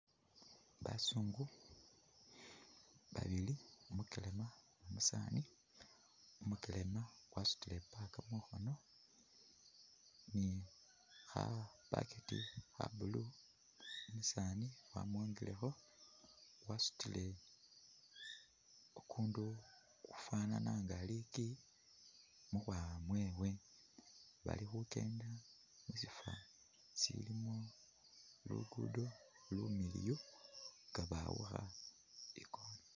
Basungu babili, umukelema ni umusaani, umukelema wasutile i'bag mukhoono ni kha bucket kha blue. Umusaani wamwongilekho wasutile kukundu kukufwanana nga liiki mukhwawa mwewe. Bali khukendela mu sifwo silimo luguudo lumiliyu nga bawukha i'corner.